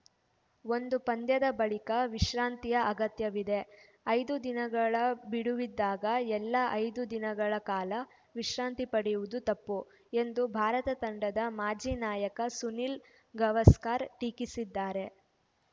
ಒಂದು ಪಂದ್ಯದ ಬಳಿಕ ವಿಶ್ರಾಂತಿಯ ಅಗತ್ಯವಿದೆ ಐದು ದಿನಗಳ ಬಿಡುವಿದ್ದಾಗ ಎಲ್ಲಾ ಐದು ದಿನಗಳ ಕಾಲ ವಿಶ್ರಾಂತಿ ಪಡೆಯುವುದು ತಪ್ಪು ಎಂದು ಭಾರತ ತಂಡದ ಮಾಜಿ ನಾಯಕ ಸುನಿಲ್‌ ಗವಾಸ್ಕರ್‌ ಟೀಕಿಸಿದ್ದಾರೆ